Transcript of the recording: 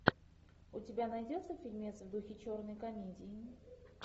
у тебя найдется фильмец в духе черной комедии